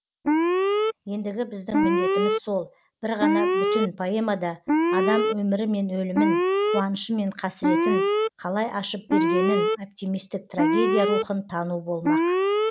ендігі біздің міндетіміз сол бір ғана бүтін поэмада адам өмірі мен өлімін қуанышы мен қасіретін қалай ашып бергенін оптимистік трагедия рухын тану болмақ